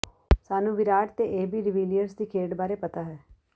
ਸਾਨੂੰ ਵਿਰਾਟ ਤੇ AB de Villiers ਦੀ ਖੇਡ ਬਾਰੇ ਪਤਾ ਹੈ